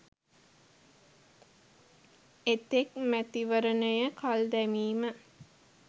එතෙක් මැතිවරණය කල්දැමීම